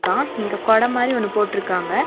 அ இங்க கொட மாரி ஒன்னு போட்ருக்காங்க.